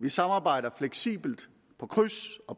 vi samarbejder fleksibelt på kryds og